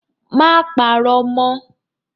Má parọ́ mọ́!